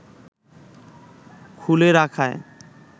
খুলে রাখায়